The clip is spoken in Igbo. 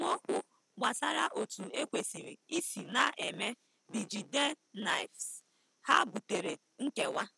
Esemokwu gbasara otu ekwesịrị isi na-eme bJidennaefs ha butere nkewa.